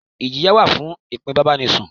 Ìjìyà wà fún ìfípábánisùn.